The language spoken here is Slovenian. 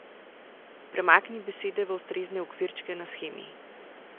Premakni besede v ustrezne okvirčke na shemi.